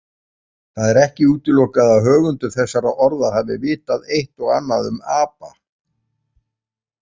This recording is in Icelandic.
Það er ekki útilokað að höfundur þessara orða hafi vitað eitt og annað um apa.